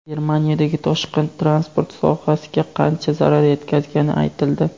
Germaniyadagi toshqin transport sohasiga qancha zarar yetkazgani aytildi.